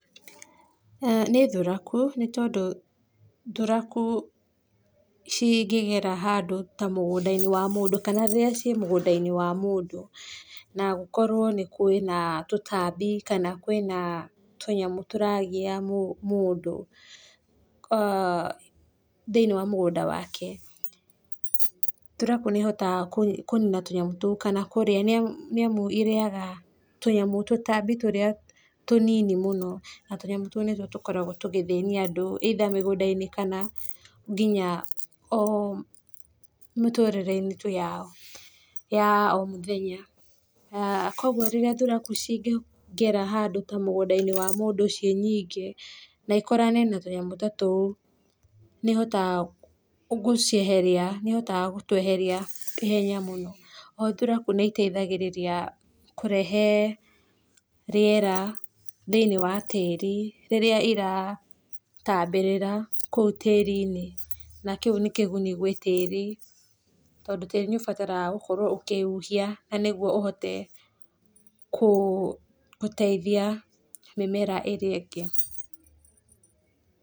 Nĩ thuraku, nĩ tondũ thuraku cingĩgera handũ ta mũgũnda wa mũndũ kana rĩrĩa ciĩ mũgũnda-inĩ wa mũndũ na gũkorwo kwĩna tũtambi kana kwĩna tũnyamũ tũragia mũndũ, aah thĩinĩ wa mũgũnda wake, thuraku nĩ hotaga kũnina tũnyamũ tũu kana kũrĩa nĩ amau irĩaga tũtambi tũrĩa tũnini na tũnyamũ tũu nĩ tuo tũkoragwo tũgĩthĩnia andũ, either mũgũnda-inĩ kana nginya mĩtũrĩre-inĩ tu ya o mũthenya, kwoguo thuraku rĩrĩa cingĩgera handũ ta mũgũnda-inĩ wa mũndũ ũcio nyingĩ na ikorane na tũnyamũ ta tũu nĩ ihotaga gũcieheria, nĩ ihotaga gũtweheria na ihenya mũno, oho thuraku nĩ iteithagĩrĩria kũrehe rĩera thĩinĩ wa tĩri, rĩrĩa ira tambĩrĩra kũu tĩri-inĩ, na kĩu nĩ kĩguni gwĩ tĩri, tondũ tĩri nĩ ũbataraga gũkorwo ũkĩhuhia nĩguo ũhote gũteithia mĩmera ĩrĩa ĩngĩ.